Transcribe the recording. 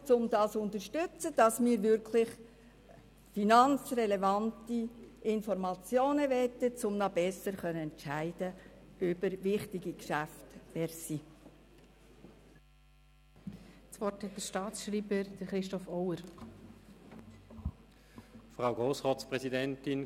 Es geht darum, zu unterstützen, dass wir finanzrelevante Informationen erhalten, um über wichtige Geschäfte noch besser entscheiden zu können.